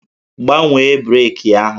Gbanwee breeki ahụ!